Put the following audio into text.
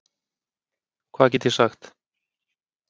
Hvað get ég sagt?